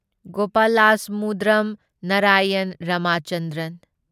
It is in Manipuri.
ꯒꯣꯄꯥꯂꯥꯁꯃꯨꯗ꯭ꯔꯝ ꯅꯔꯥꯌꯟ ꯔꯥꯃꯆꯟꯗ꯭ꯔꯟ